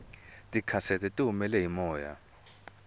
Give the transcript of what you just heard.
tikhasete tihumele hi moya